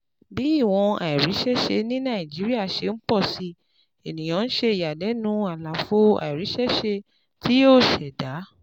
Bí ìwọ̀n àìríṣẹ́ṣe ní Nàìjíríà ṣe ń pọ̀ sí, ènìyàn ń ṣe ìyàlẹ́nu àlàfo àìríṣẹ́ṣe tí yóò ṣẹ̀dá.